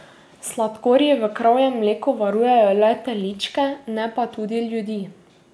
Sladkorji v kravjem mleku varujejo le teličke, ne pa tudi ljudi.